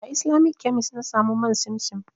A Islamic kemis na samu man simsim.